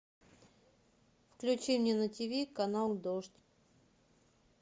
включи мне на тиви канал дождь